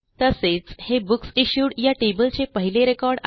तसेच हे बुकसिश्यूड या Tableचे पहिले रेकॉर्ड आहे